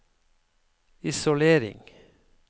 isolering